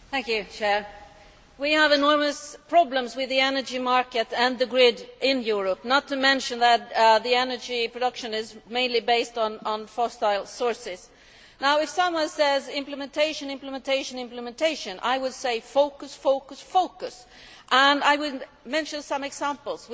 Mr President, we have enormous problems with the energy market and the grid in Europe, not to mention that energy production is mainly based on fossil sources. If someone says implementation, implementation, implementation, I would say focus, focus, focus, and I would mention some examples.